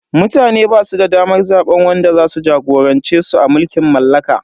Mutane basu da damar zaben wanda zasu jagorance su a mulkin mallaka.